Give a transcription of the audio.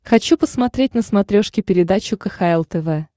хочу посмотреть на смотрешке передачу кхл тв